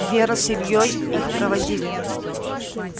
вера с ильёй их проводили